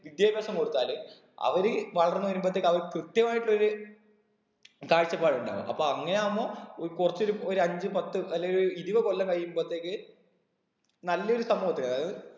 വിദ്യാഭ്യാസം കൊടുത്താല് അവര് വളർന്ന് വരുമ്പോത്തേക്കും അവര് കൃത്യമായിട്ട് ഒര് കാഴ്ച്ചപ്പാട്‌ ഉണ്ടാകും അപ്പൊ അങ്ങനെ ആവുമ്പൊ ഏർ കുറച്ചൊരു ഒര് അഞ്ചു പത്തു അല്ലെങ്കിൽ ഒരു ഇരുപത് കൊല്ലം കഴിയുമ്പോത്തേക്ക് നല്ലൊരു സമൂഹത്തെ അതായത്